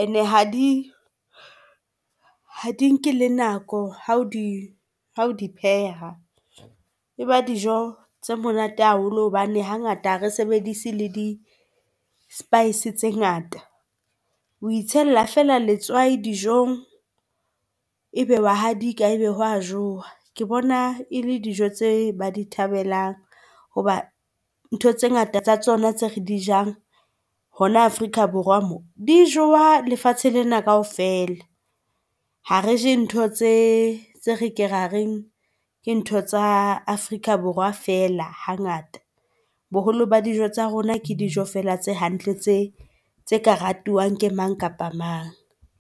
Ene ha di nke le nako ha o di ha o di pheha. E ba dijo tse monate haholo hobane hangata ha re sebedise le di spice tse ngata. O itshella feela letswai dijong, ebe wa hadika ebe ho a jowa. Ke bona e le dijo tse ba di thabelang hoba ntho tse ngata tsa tsona tse re di jang hona Afrika Borwa moo di jowa lefatshe lena kaofela ha re je ntho tse re ke ra reng ke ntho tsa Afrika Borwa feela ha ngata. Boholo ba dijo tsa rona ke dijo fela tse hantle tse tse ka ratuwang ke mang kapa mang.